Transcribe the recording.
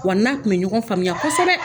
Wa n'a tun bɛ ɲɔgɔn faamuya kosɛbɛ.